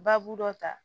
Baabu dɔ ta